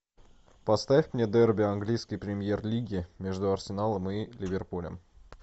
поставь мне дерби английской премьер лиги между арсеналом и ливерпулем